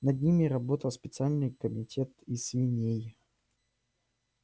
над ними работал специальный комитет из свиней